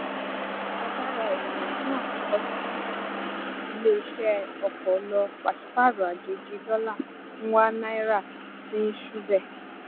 agbara eniyan naa kọsi awọn ileiṣẹ ọkọ lọ paṣipaarọ ajeji dọla ń wa naira sì ń ṣubẹ